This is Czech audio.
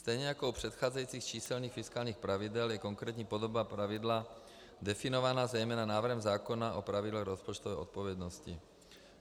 Stejně jako u předcházejících číselných fiskálních pravidel je konkrétní podoba pravidla definována zejména návrhem zákona o pravidlech rozpočtové odpovědnosti.